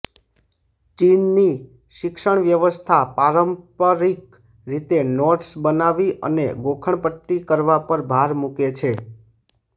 ચીનની શિક્ષણ વ્યવસ્થા પારંપરિક રીતે નોટ્સ બનાવી અને ગોખણપટ્ટી કરવા પર ભાર મૂકે છે